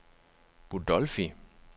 Budolfi